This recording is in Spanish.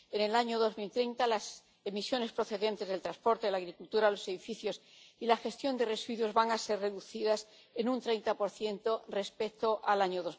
En el año 2030 las emisiones procedentes del transporte, la agricultura, los edificios y la gestión de residuos van a ser reducidas en un 30 respecto al año